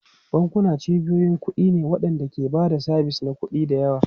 Bankuna cibiyoyin kuɗi ne waɗanda ke ba da sabis na kuɗi da yawa.